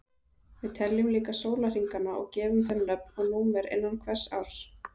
Við teljum líka sólarhringana og gefum þeim nöfn og númer innan hvers árs.